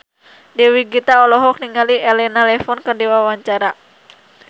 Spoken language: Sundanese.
Dewi Gita olohok ningali Elena Levon keur diwawancara